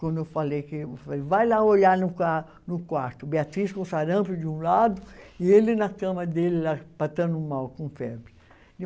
Quando eu falei que, vai lá olhar no qua, no quarto, Beatriz com sarampo de um lado e ele na cama dele lá, passando mal, com febre.